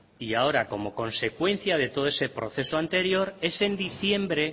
y ahora como consecuencia de todo ese proceso anterior es en diciembre